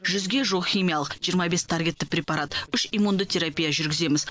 жүзге жуық химиялық жиырма бес таргетті препарат үш иммунды терапия жүргіземіз